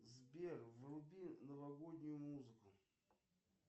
сбер вруби новогоднюю музыку